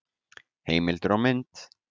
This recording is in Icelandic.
Heimildir og mynd: